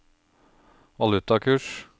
valutakurs